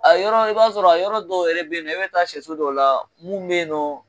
A yɔrɔ i b'a sɔrɔ a yɔrɔ dɔw yɛrɛ bɛ yen nɔ i bɛ taa sɛso dɔ la mun bɛ yen nɔ